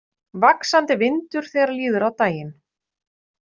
Vaxandi vindur þegar líður á daginn